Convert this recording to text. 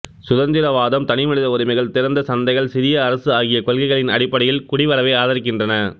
சுதந்திரவாதம் தனிமனித உரிமைகள் திறந்த சந்தைகள் சிறிய அரசு ஆகிய கொள்கைகளின் அடிப்படையில் குடிவரவை ஆதரிக்கின்றன